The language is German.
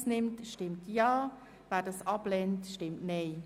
Wer diese annimmt, stimmt Ja, wer diese ablehnt, stimmt Nein.